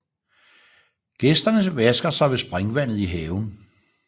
Gæsterne vasker sig ved springvandet i haven